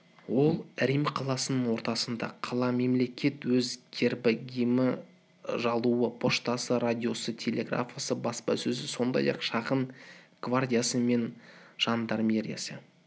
ол рим қаласының ортасында қала-мемлекет өз гербі гимні жалауы поштасы радиосы телеграфы баспасөзі сондай-ақ шағын гвардиясы мен жандармериясы